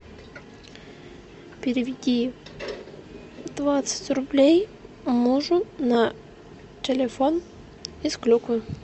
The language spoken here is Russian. переведи двадцать рублей мужу на телефон из клюквы